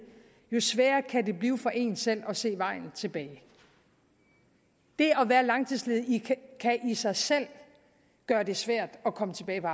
jo sværere kan det blive for en selv at se vejen tilbage det at være langtidsledig kan i sig selv gøre det svært at komme tilbage på